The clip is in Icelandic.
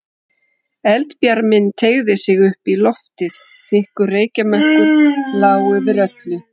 Eldbjarminn teygði sig upp í loftið, þykkur reykjarmökkur lá yfir öllu.